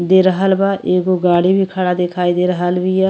दे रहल बा। एगो गाड़ी भी खड़ा दिखाई दे रहिल बिया।